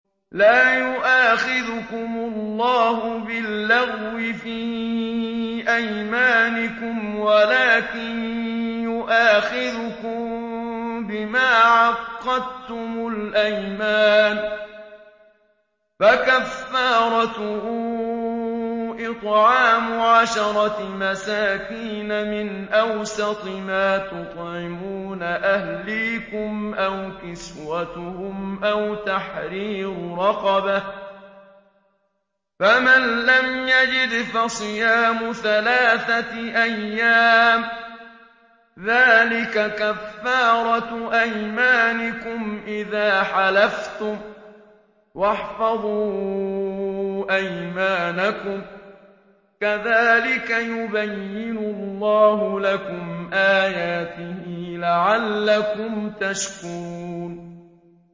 لَا يُؤَاخِذُكُمُ اللَّهُ بِاللَّغْوِ فِي أَيْمَانِكُمْ وَلَٰكِن يُؤَاخِذُكُم بِمَا عَقَّدتُّمُ الْأَيْمَانَ ۖ فَكَفَّارَتُهُ إِطْعَامُ عَشَرَةِ مَسَاكِينَ مِنْ أَوْسَطِ مَا تُطْعِمُونَ أَهْلِيكُمْ أَوْ كِسْوَتُهُمْ أَوْ تَحْرِيرُ رَقَبَةٍ ۖ فَمَن لَّمْ يَجِدْ فَصِيَامُ ثَلَاثَةِ أَيَّامٍ ۚ ذَٰلِكَ كَفَّارَةُ أَيْمَانِكُمْ إِذَا حَلَفْتُمْ ۚ وَاحْفَظُوا أَيْمَانَكُمْ ۚ كَذَٰلِكَ يُبَيِّنُ اللَّهُ لَكُمْ آيَاتِهِ لَعَلَّكُمْ تَشْكُرُونَ